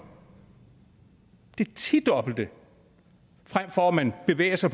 det tidobbelte når man bevæger sig